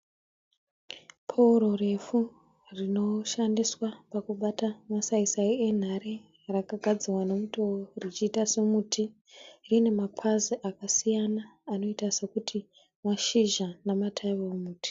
Pouro refu rinoshandiswa pakubata masaisai enhare rakagadzirwa nemutowo richiita semuti rine mapazi akasiiyana anoiita sekuti mashizha ematavi emuti.